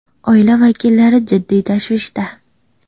Oila vakillari jiddiy tashvishda.